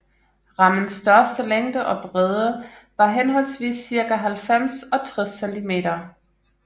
Rammens største længde og bredde var henholdsvis cirka halvfems og tres cm